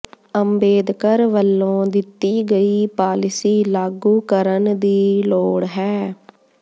ਅੰਬੇਦਕਰ ਵੱਲੋਂ ਦਿੱਤੀ ਗਈ ਪਾਲਿਸੀ ਲਾਗੂ ਕਰਨ ਦੀ ਲੋੜ ਹੈ